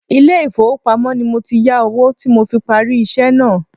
Ilé ifowopamo ni mo ti yà owó tí mo fi parí iṣẹ́ náà.